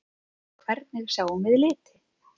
Hvernig sjáum við liti?